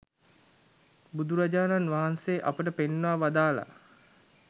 බුදුරජාණන් වහන්සේ අපට පෙන්වා වදාළා.